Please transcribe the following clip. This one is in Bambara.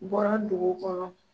U bɔra dugu kɔnɔ.